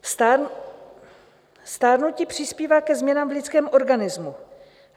Stárnutí přispívá ke změnám v lidském organismu.